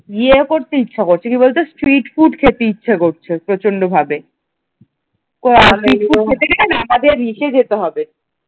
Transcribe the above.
ইয়ে করতে ইচ্ছা করছে কি বলতো street food খেতে ইচ্ছা করছে প্রচন্ডভাবে street food খেতে গেলে না আমাদের ইসে যেতে হবে ।